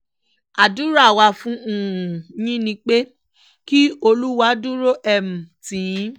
àdúrà wa fún um yín ni pé kí olúwa dúró um tì yín